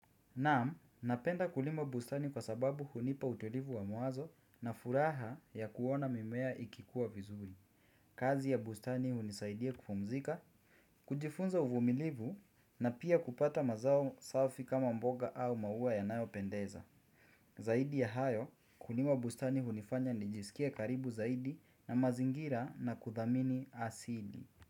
Naam, napenda kulima bustani kwa sababu hunipa utulivu wa mawazo na furaha ya kuona mimea ikikua vizuri. Kazi ya bustani hunisaidia kupumzika, kujifunza uvumilivu na pia kupata mazao safi kama mboga au maua yanayopendeza. Zaidi ya hayo, kulima bustani hunifanya nijisikie karibu zaidi na mazingira na kuthamini asili.